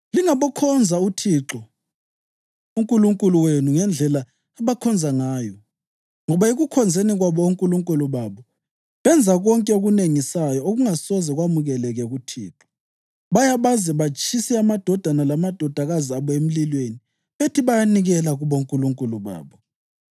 Lingabokhonza uThixo uNkulunkulu wenu ngendlela abakhonza ngayo, ngoba ekukhonzeni kwabo onkulunkulu babo, benza konke okunengisayo okungasoze kwamukeleke kuThixo. Baya baze batshise amadodana lamadodakazi abo emlilweni bethi bayanikela kubonkulunkulu babo.